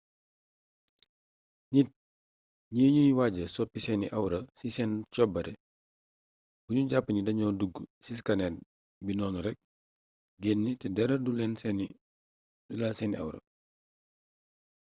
nit ñi ñuy waaja soppi seeni awra ci seen cobaare bu ñu jàpp ni dañu dugg ci scanner bi noonu rek génn te dara du laal seeni awra